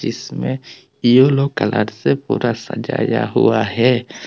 इसमें yellow colour से पूरा सजाया हुआ है।